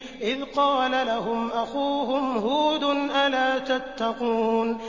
إِذْ قَالَ لَهُمْ أَخُوهُمْ هُودٌ أَلَا تَتَّقُونَ